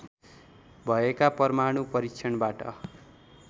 भएका परमाणु परीक्षणबाट